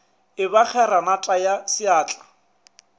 e ba kgeranata ya seatla